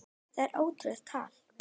Það er ótrúleg tala.